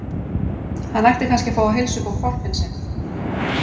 Hann ætti kannski að fá að heilsa upp á hvolpinn sinn.